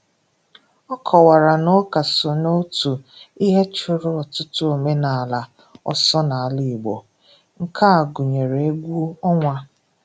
Ọ kọwara na ụka so na otu ihe chụrụ ọtụtụ omenala ọsọ n'ala Igbo, nke a gụnyere egwu ọnwa.